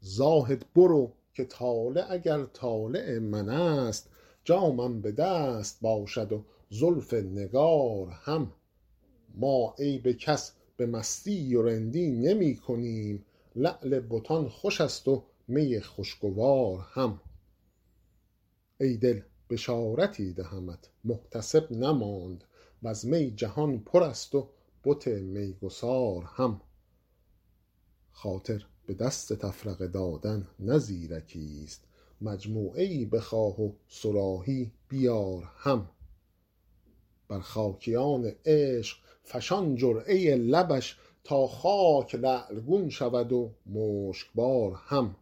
زاهد برو که طالع اگر طالع من است جامم به دست باشد و زلف نگار هم ما عیب کس به مستی و رندی نمی کنیم لعل بتان خوش است و می خوشگوار هم ای دل بشارتی دهمت محتسب نماند و از می جهان پر است و بت میگسار هم خاطر به دست تفرقه دادن نه زیرکیست مجموعه ای بخواه و صراحی بیار هم بر خاکیان عشق فشان جرعه لبش تا خاک لعل گون شود و مشکبار هم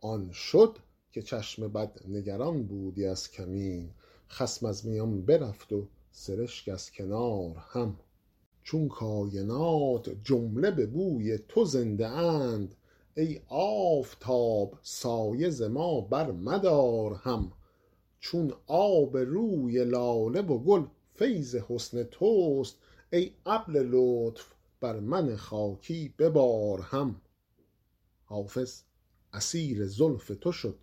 آن شد که چشم بد نگران بودی از کمین خصم از میان برفت و سرشک از کنار هم چون کاینات جمله به بوی تو زنده اند ای آفتاب سایه ز ما برمدار هم چون آب روی لاله و گل فیض حسن توست ای ابر لطف بر من خاکی ببار هم حافظ اسیر زلف تو شد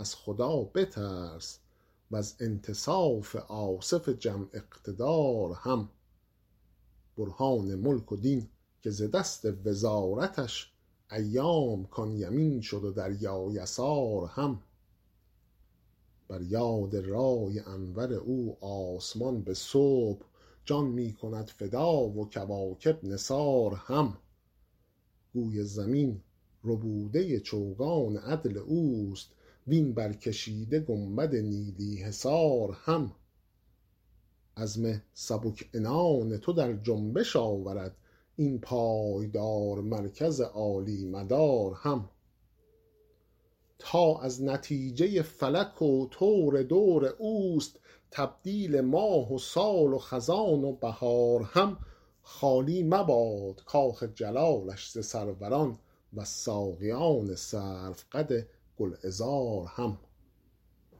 از خدا بترس و از انتصاف آصف جم اقتدار هم برهان ملک و دین که ز دست وزارتش ایام کان یمین شد و دریا یسار هم بر یاد رای انور او آسمان به صبح جان می کند فدا و کواکب نثار هم گوی زمین ربوده چوگان عدل اوست وین برکشیده گنبد نیلی حصار هم عزم سبک عنان تو در جنبش آورد این پایدار مرکز عالی مدار هم تا از نتیجه فلک و طور دور اوست تبدیل ماه و سال و خزان و بهار هم خالی مباد کاخ جلالش ز سروران و از ساقیان سروقد گلعذار هم